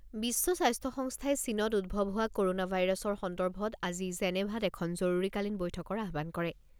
বিশ্ব স্বাস্থ্য সংস্থাই চীনত উদ্ভৱ হোৱা ক'ৰোনা ভাইৰাছৰ সন্দৰ্ভত আজি জেনেভাত এখন জৰুৰীকালীন বৈঠকৰ আহ্বান কৰে।